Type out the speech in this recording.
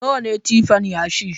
Nawa ne tipan yashi?